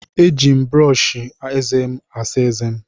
Eji m brọọshị ézé m asa ézé m.